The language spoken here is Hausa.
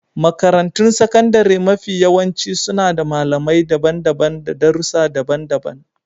Makarantun sakandare mafiyawanci suna da malamai daban-daban na darussa daban-daban.